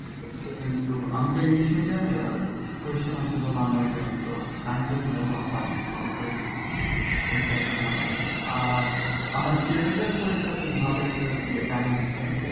কিন্তু আমি তো english medium এর আর question আসে তো bengali medium এর তো science এর গুলা তেমন পারেনি ভালো করে ওইটা আর কি ঝামেলা হয়েছে আর আমার পরীক্ষার দিন ভালো একটা ইয়ে কাহিনী আছে